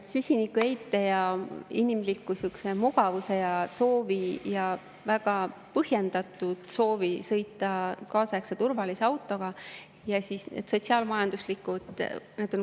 On süsinikuheite ja inimlik sihuke mugavuse aspekt ja väga põhjendatud soov sõita kaasaegse turvalise autoga, samuti sotsiaal-majanduslik aspekt.